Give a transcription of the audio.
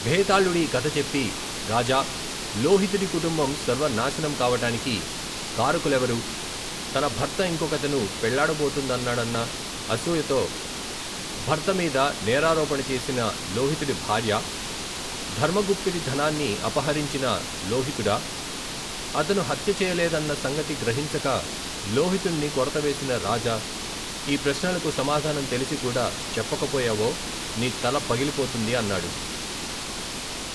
భేతాళుడీ కధ చెప్పి రాజా లోహితుడి కుటుంబం సర్వనాశనం కావటానికి కారకులెవరు తన భర్త ఇంకొకతెను పెళ్ళాడబోతున్నాడన్న అసూయతో భర్త మీద నేరారోపణ చేసిన లోహితుడి భార్యా ధర్మగుప్తుడి ధనాన్ని అపహరించిన లోహితుడా అతను హత్య చేయలేదన్న సంగతి గ్రహించక లోహితుణ్ణి కొరతవేసిన రాజా ఈ ప్రశ్నలకు సమాధానం తెలిసి కూడా చెప్పకపోయావో నీ తల పగిలి పోతుంది అన్నాడు.